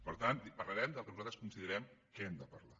per tant parlarem del que nosaltres considerem que hem de parlar